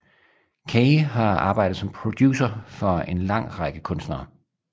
Kaye har arbejdet som producer for an lang række kunstnere